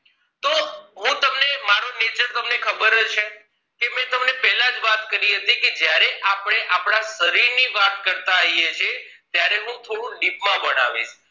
હું તમને મારુ nature તમને ખબર છે જ મેં તમને પેલા જ વાત કરી હતી જયારે આપણે આપણા શરીર ની વાત કરતા આઇયે છે ત્યારે હું તમને deep માં જ ભણાવીશ